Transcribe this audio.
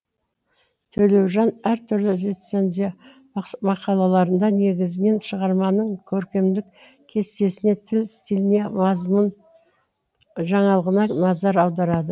төлеужан әр түрлі рецензия мақалаларында негізінен шығарманың көркемдік кестесіне тіл стиліне мазмұн жаңалығына назар аударады